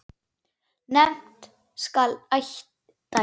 Nefnt skal eitt dæmi.